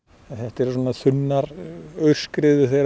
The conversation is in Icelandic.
þetta eru svona þunnar aurskriður þegar